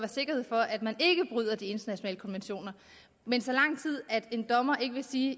sikkerhed for at man ikke bryder de internationale konventioner men så lang tid en dommer ikke vil sige at